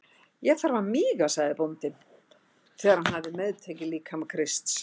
Ég þarf að míga, sagði bóndinn þegar hann hafði meðtekið líkama Krists.